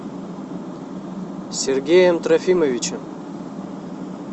сергеем трофимовичем